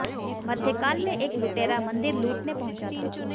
मध्यकाल में एक लुटेरा मंदिर लूटने पहुंचा था